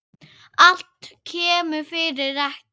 Allt kemur fyrir ekki.